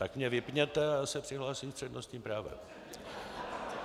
Tak mě vypněte a já se přihlásím s přednostním právem.